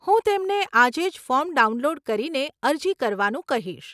હું તેમને આજે જ ફોર્મ ડાઉનલોડ કરીને અરજી કરવાનું કહીશ.